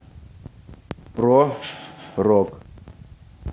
про рок